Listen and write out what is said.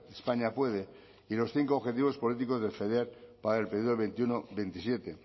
españa puede y los cinco objetivos políticos del feder para el periodo veintiuno veintisiete